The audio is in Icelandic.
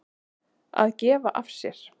Að gefa af sér.